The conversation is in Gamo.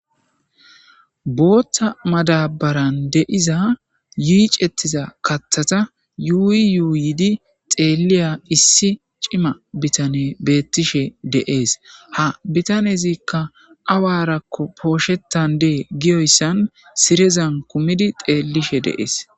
Botha madabare de'iza yice'tida kathata yuyi yuyi xeliya issi ci,ima bitanne betishe dee's ha bitanezika awarako poshetande gidi siridayisa xelishe de'ees